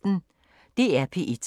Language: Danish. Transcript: DR P1